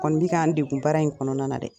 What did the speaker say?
Bɛ kan n dekun baara in kɔnɔna na dɛ?